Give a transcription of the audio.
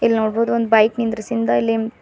ಇಲ್ಲಿ ನೋಡ್ಬೋದು ಒಂದ್ ಬೈಕ್ ನಿಂದ್ರಸಿಂದ ಇಲ್ಲಿ--